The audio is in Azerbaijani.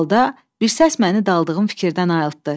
Bu halda bir səs məni daldığım fikirdən ayıltdı.